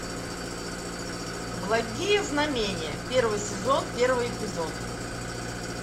благие знамения первый сезон первый эпизод